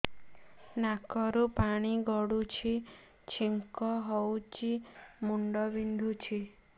ନାକରୁ ପାଣି ଗଡୁଛି ଛିଙ୍କ ହଉଚି ମୁଣ୍ଡ ବିନ୍ଧୁଛି